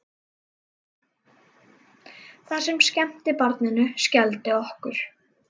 Það sem skemmti barninu skelfdi okkur.